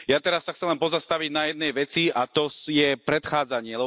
Ja teraz sa chcem pozastaviť na jednej veci, a to je predchádzanie.